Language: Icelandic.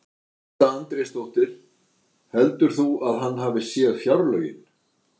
Edda Andrésdóttir: Heldur þú að hann hafi séð fjárlögin?